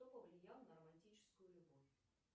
кто повлиял на романтическую любовь